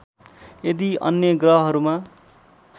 यदि अन्य ग्रहहरूमा